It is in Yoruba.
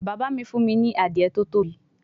Baba mi fun mi ni Adiye to tobi